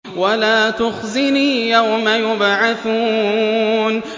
وَلَا تُخْزِنِي يَوْمَ يُبْعَثُونَ